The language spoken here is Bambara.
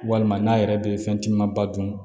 Walima n'a yɛrɛ bɛ fɛn caman ba dun